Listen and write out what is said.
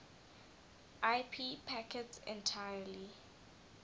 ip packets entirely